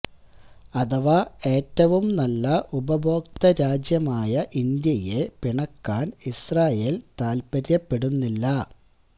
അഥവാ ഏറ്റവും നല്ല ഉപഭോക്തൃ രാജ്യമായ ഇന്ത്യയെ പിണക്കാന് ഇസ്രാഈല് താല്പര്യപ്പെടുന്നില്ല